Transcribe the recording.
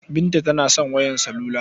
Binta tana son wayar salula.